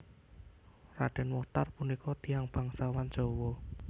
Raden Mochtar punika tiyang bangsawan Jawa